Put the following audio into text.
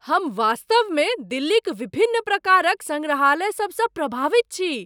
हम वास्तव मे दिल्लीक विभिन्न प्रकारक सङ्ग्रहालयसभ सँ प्रभावित छी।